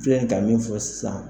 Filɛ nin ka min fɔ sisan.